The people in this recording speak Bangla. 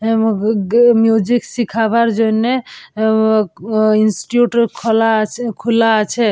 অ্যা মিউজিক শিখাবার জন্যে আ-আ অ ইনস্টিটিউট খোলা আছে খুলা আছে।